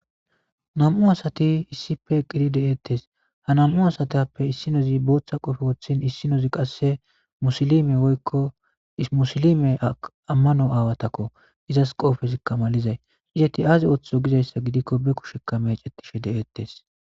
Nam'u asati isdipe eqidi de'etees. Ha nam'u asatape isdinozi bootha qoofe woththin issinozi qasse musilime woyko musilime amano aawatako izas qoofezika malizay. Izeti aazi oothi gizaysa gidiko be kushe meecetishe de'etees.